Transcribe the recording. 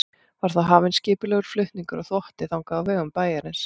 Var þá hafinn skipulegur flutningur á þvotti þangað á vegum bæjarins.